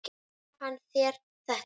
Gaf hann þér þetta?